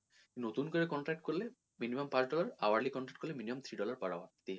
নতুন করে contract করলে minimum পাঁচ dollar hourly contract করলে minimum three dollar per hour এইভাবে।